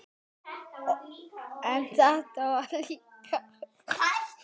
Þau eru öll eins.